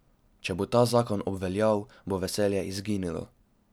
Če bo ta zakon obveljal, bo veselje izginilo.